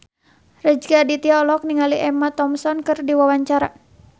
Rezky Aditya olohok ningali Emma Thompson keur diwawancara